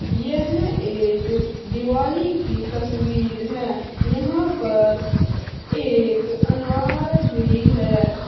यह एक दिवाली की तस्वीर है यहां पर एक अनार भी है।